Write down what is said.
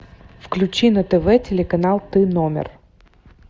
включи на тв телеканал тномер